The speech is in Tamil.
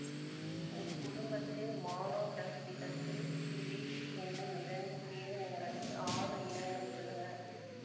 இக் குடும்பத்தில் மானோடக்டிலசு சுயேட்டீ என்னும் இரண்டு பேரினங்களில் ஆறு இனங்கள் உள்ளன